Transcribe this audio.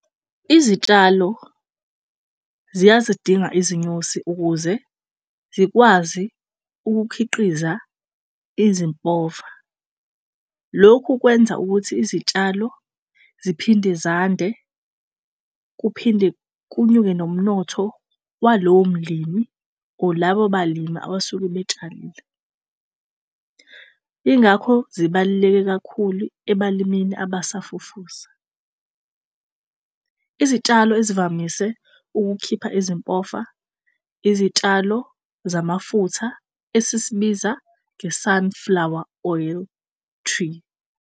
Izitshalo ziyazidinga izinyosi ukuze zikwazi ukukhiqiza ezimpova. Lokhu kwenza ukuthi izitshalo ziphinde zande kuphinde kunyuke nomnotho walowo mlimi or labo balimi abasuke betshalile. Ingakho zibaluleke kakhulu ebalimini abasafufusa. Izitshalo ezivamise ukukhipha ezimpofa izitshalo zamafutha esisibiza nge-sunflower oil tree.